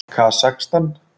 Kasakstan